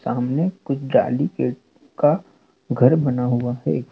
सामने कुछ डाली गेट का घर बना हुआ है।